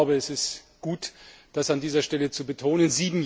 Es ist gut, das an dieser Stelle zu betonen.